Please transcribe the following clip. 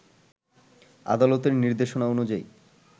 আদালতের নির্দেশনা অনুযায়ী